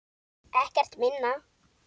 Ekkert minna.